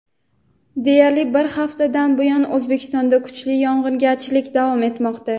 Deyarli bir haftadan buyon O‘zbekistonda kuchli yog‘ingarchilik davom etmoqda.